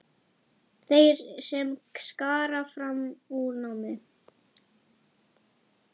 Þeir sem skara fram úr í námi.